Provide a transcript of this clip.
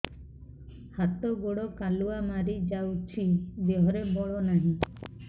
ହାତ ଗୋଡ଼ କାଲୁଆ ମାରି ଯାଉଛି ଦେହରେ ବଳ ନାହିଁ